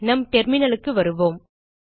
நம் terminalக்கு வருவோம்